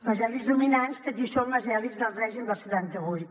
les elits dominants que aquí són les elits del règim del setanta vuit